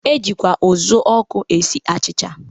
E jikwa ụzụọkụ esi achịcha.